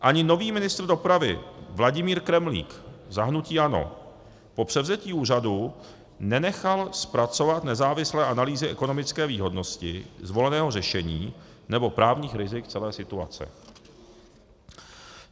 Ani nový ministr dopravy Vladimír Kremlík za hnutí ANO po převzetí úřadu nenechal zpracovat nezávislé analýzy ekonomické výhodnosti zvoleného řešení nebo právních rizik celé situace.